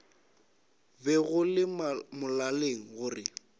be go le molaleng gore